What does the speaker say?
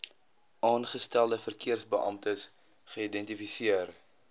aangestelde verkeersbeamptes geïdentifiseer